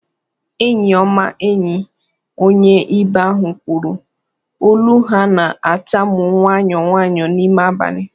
"Eenyi ọma, enyi," onye ibe ahụ kwuru, olu ha na-atamu nwayọ nwayọ n'ime abalị